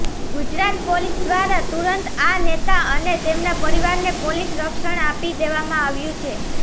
Gujarat police દ્નારા તુરંત આ નેતા અને તેમના પરિવારને પોલીસ રક્ષણ આપી દેવામાં આવ્યુ છે